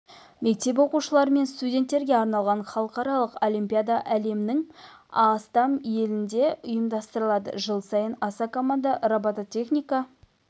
мектеп оқушылары мен студенттерге арналған халықаралық олимпиада әлемнің астам елінде ұйымдастырылады жыл сайын аса команда робототехника